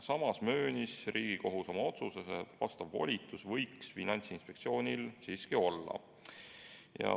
Samas möönis Riigikohus oma otsuses, et selline volitus võiks Finantsinspektsioonil siiski olla.